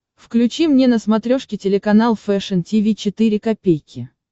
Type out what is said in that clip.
включи мне на смотрешке телеканал фэшн ти ви четыре ка